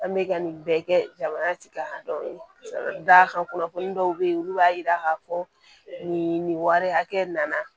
An bɛ ka nin bɛɛ kɛ jamanatigikadɔw ye ka d'a kan kunnafoni dɔw bɛ ye olu b'a yira k'a fɔ nin wari hakɛ nana